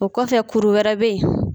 O kɔfɛ kuru wɛrɛ bɛ ye.